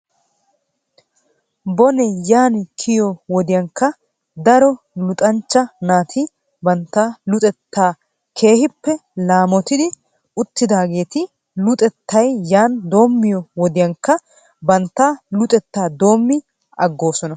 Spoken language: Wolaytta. Bonee yaani kiyiyoo wodiyankka daro luxxanchcha naati bantta luxettaa keehippe laamottidi uttidaageeti luxettay yaani doomiyoo wodiyankka batta luxetaa doomi agoosona.